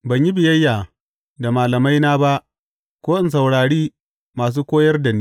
Ban yi biyayya da malamaina ba ko in saurari masu koyar da ni.